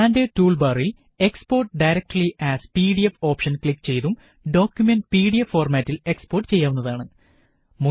standard tool ബാറിലെ export directly as PDF option click ചെയ്തും document PDF ഫോര്മാറ്റില് export ചെയ്യാവുന്നതാണ്